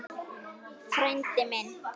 Frændi minn!